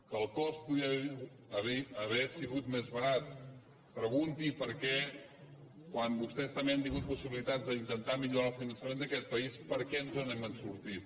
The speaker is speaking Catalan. que el cost podia haver sigut més barat pregunti per què quan vostès també han tingut possibilitats d’intentar millorar el finançament d’aquest país per què no ens n’hem sortit